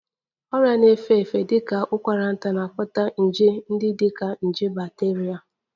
Ọrịa na-efe efe dị ka ụkwara nta na-akpata nje ndị dị ka nje bacteria